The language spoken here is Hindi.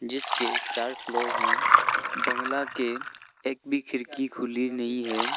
जिसके चार फ्लोर हैं बंगला के एक भी खिड़की खुली नहीं है।